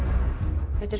þetta er